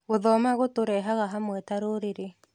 Gũthoma gũtũrehaga hamwe ta rũrĩrĩ.